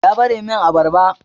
Ya Ɓare min abarbar.